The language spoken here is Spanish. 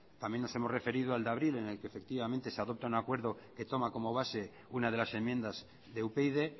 también nos hemos referido al de abril en el que efectivamente se toma como base una de las enmiendas de upyd